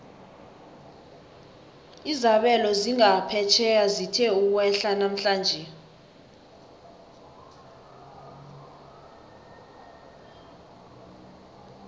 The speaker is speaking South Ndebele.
izabelo zangaphetjheya zithe ukwehla namhlanje